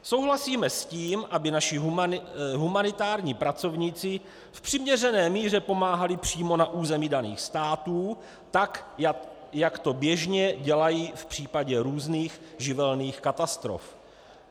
Souhlasíme s tím, aby naši humanitární pracovníci v přiměřené míře pomáhali přímo na území daných států tak, jak to běžně dělají v případě různých živelních katastrof.